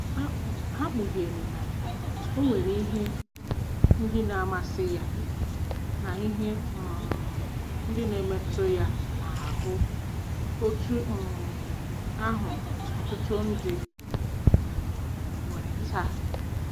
Ha kpughere na o nwere ihe ndị na-amasị ya na ihe um ndị na-emetụ ya n’ahụ́ otú um ahụ ọtụtụ ndị um nwere taa.